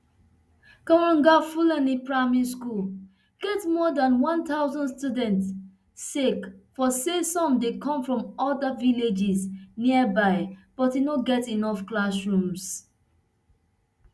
kwagar fulani primary school get more dan one thousand students sake of say some dey come from oda villages nearby but e no get enough classrooms